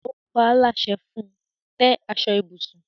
O paa láṣẹ fun; tẹ́ aṣọ ibùsùn!